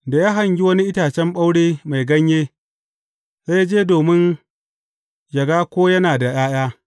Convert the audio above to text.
Da ya hangi wani itacen ɓaure mai ganye, sai ya je domin yă ga ko yana da ’ya’ya.